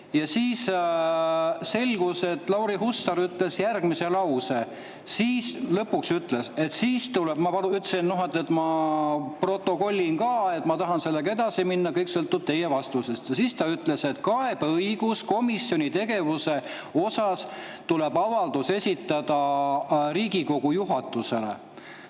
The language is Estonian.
Ja siis lõpuks Lauri Hussar ütles järgmise lause – ma ütlesin, et ma protokollin ka, et ma tahan sellega edasi minna, kõik sõltub tema vastusest –, et komisjoni tegevuse kohta, siis tuleb avaldus esitada Riigikogu juhatusele.